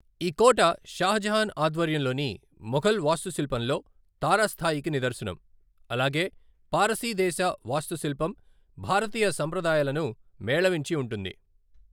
ఈ కోట షాజహాన్ ఆధ్వర్యంలోని మొఘల్ వాస్తుశిల్పంలో తారాస్థాయికి నిదర్శనం, అలాగే పారసీదేశ వాస్తుశిల్పం, భారతీయ సంప్రదాయాలను మేళవించి ఉంటుంది.